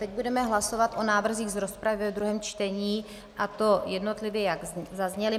Teď budeme hlasovat o návrzích z rozpravy ve druhém čtení, a to jednotlivě, jak zazněly.